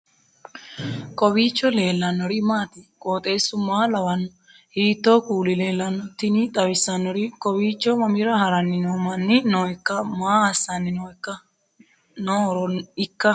kowiicho leellannori maati ? qooxeessu maa lawaanno ? hiitoo kuuli leellanno ? tini xawissannori kowiicho mammira haranni noo manni noikka maa assanni noohoroikka ?